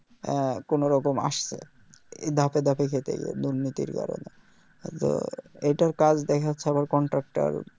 হ্যাঁ কোনও রকম আসছে এই ধাপে ধাপে খেতে গিয়ে দুর্নীতির কারণে তো এইটার কাজ দ্যাখাচ্ছে আবার contractor